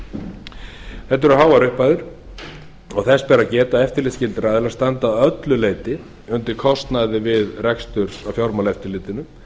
þetta eru háar upphæðir og þess ber að geta að eftirlitsskyldir aðilar standa að öllu leyti undir kostnaði við rekstur af fjármálaeftirlitinu